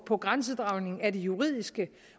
på grænsedragningen af det juridiske